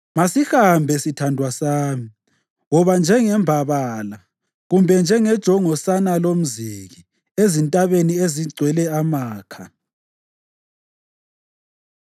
Masihambe, sithandwa sami, woba njengembabala kumbe njengejongosana lomziki ezintabeni ezigcwele amakha.